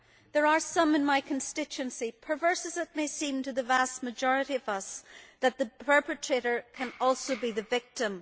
There are some in my constituency, perverse as it may seem to the vast majority of us, where the perpetrator can also be the victim.